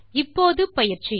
இப்போது பயிற்சி